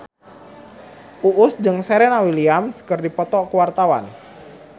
Uus jeung Serena Williams keur dipoto ku wartawan